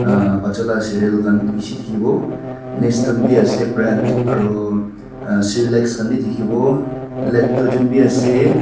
ahh bacha la seral khan bishi dikhibo biase brand aro cerelac khan bi dikhibo lectogen biase.